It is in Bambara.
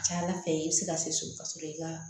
Ca ala fɛ i bɛ se ka se so ka sɔrɔ i ka